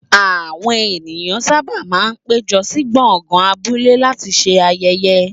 Àwọn ènìyàn sábà máa ń péjọ sí gbọ̀ngàn abúlé láti ṣe ayẹyẹ.